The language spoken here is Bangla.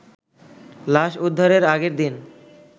লাশ উদ্ধারের আগের দিন